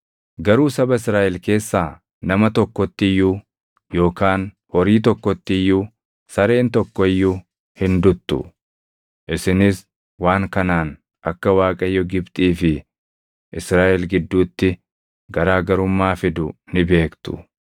Garuu saba Israaʼel keessaa nama tokkotti iyyuu yookaan horii tokkotti iyyuu sareen tokko iyyuu hin duttu.’ Isinis waan kanaan akka Waaqayyo Gibxii fi Israaʼel gidduutti garaa garummaa fidu ni beektu.